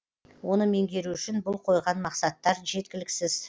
оны меңгеру үшін бұл қойған мақсаттар жеткіліксіз